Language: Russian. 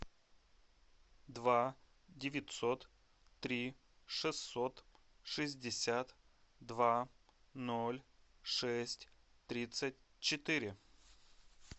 два девятьсот три шестьсот шестьдесят два ноль шесть тридцать четыре